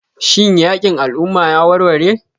Shin yakin al'umma ya warware?